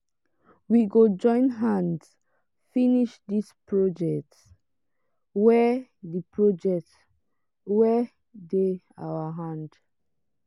we go join hands finish dis project wey dey project wey dey our hand.